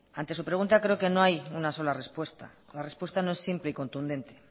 ante su pregunta creo que no hay una sola respuesta la respuesta no es simple y contundente